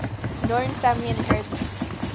known family inheritance